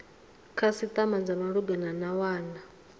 khasitama dza malugana na wana